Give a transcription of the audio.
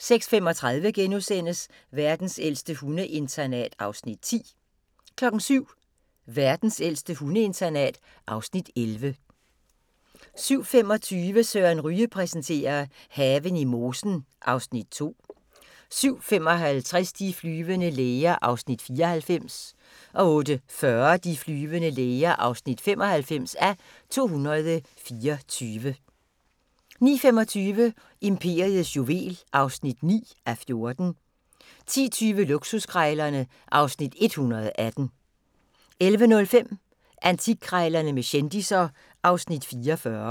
06:35: Verdens ældste hundeinternat (Afs. 10)* 07:00: Verdens ældste hundeinternat (Afs. 11) 07:25: Søren Ryge præsenterer: Haven i mosen (Afs. 2) 07:55: De flyvende læger (94:224) 08:40: De flyvende læger (95:224) 09:25: Imperiets juvel (9:14) 10:20: Luksuskrejlerne (Afs. 118) 11:05: Antikkrejlerne med kendisser (Afs. 44)